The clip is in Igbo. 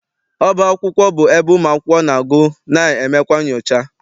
Ọba akwụkwọ bụ ebe ụmụakwụkwọ na- agụ na emekwa nchọcha.